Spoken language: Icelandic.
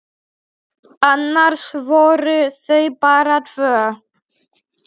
Annars voru þau bara tvö.